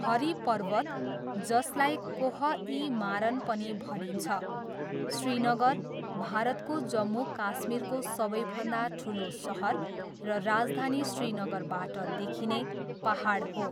हरी पर्वत जसलाई कोह ई मारन पनि भनिन्छ, श्रीनगर, भारतको जम्मू काश्मीरको सबैभन्दा ठुलो सहर र राजधानी श्रीनगरबाट देखिने पाहाड हो।